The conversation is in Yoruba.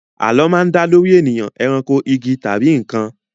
Àlọ́ máa ń dá lórí ènìyàn, eranko, igi, tàbí nǹkan